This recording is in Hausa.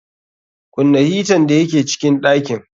Kunna hitan da ya ke cikin ɗakin.